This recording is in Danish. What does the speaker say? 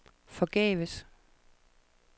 forgæves